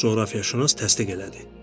Coğrafiyaşünas təsdiq elədi.